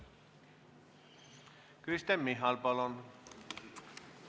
Kristen Michal, palun!